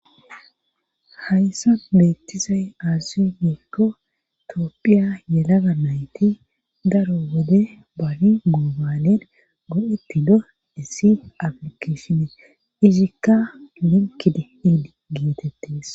Hayssa beettizay aazu nikko toopphiya yelaga nayti daro wode babi moobanen godhetti do essif aplikeshinee izikka minkidi iidi geetettees.